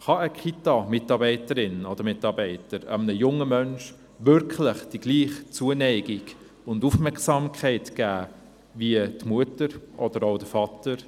Kann eine Kitamitarbeiterin oder ein Kitamitarbeiter einem jungen Menschen wirklich dieselbe Zuneigung und Aufmerksamkeit geben wie die Mutter oder der Vater?